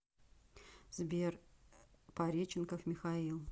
сбер пареченков михаил